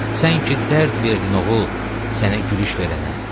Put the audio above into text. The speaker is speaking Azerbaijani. Sən ki dərd verdin oğul, sənə gülüş verənə.